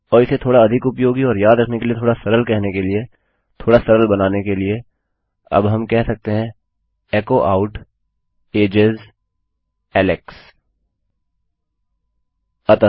और इसे थोडा अधिक उपयोगी और याद रखने के लिए थोड़ा सरल कहने के लिए थोड़ा सरल बनाने के लिए अब हम कह सकते हैं एचो आउट एजेस एलेक्स इस तरह